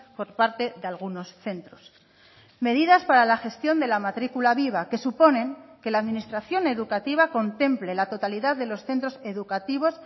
por parte de algunos centros medidas para la gestión de la matricula viva que suponen que la administración educativa contemple la totalidad de los centros educativos